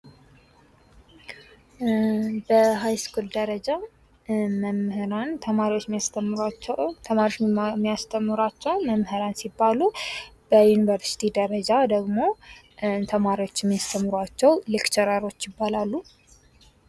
በሃይስኩል ደረጃ መምህራን ተማሪዎችን የሚያስተምሯቸው መምህራን ሲባሉ በዩኒቨርስቲ ደረጃ ደግሞ ተማሪዎችን የሚያስተምሯቸው ሌክቸረሮች ይባላሉ።